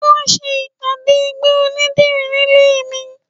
Wọn ń ṣe ìpàdé ẹgbẹ́ onídìrí nílé mi